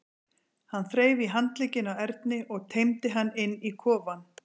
Hann þreif í handlegginn á Erni og teymdi hann inn í kofann.